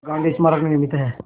गांधी स्मारक निर्मित है